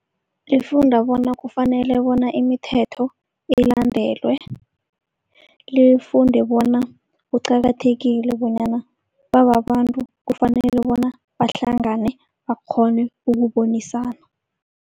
Lifunda bona kufanele bona imithetho ilandelwe. Lifunde bona kuqakathekile bonyana bababantu kufanele bona bahlangane bakghone ukubonisana.